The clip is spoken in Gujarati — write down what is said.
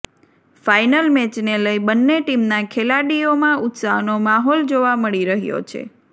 ફાઈનલ મેચને લઈ બંને ટીમના ખેલાડીઓમાં ઉત્સાહનો માહોલ જોવા મળી રહ્યો છે